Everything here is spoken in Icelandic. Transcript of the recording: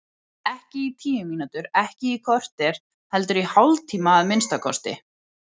Ekki í tíu mínútur, ekki í kortér, heldur í hálftíma að minnsta kosti.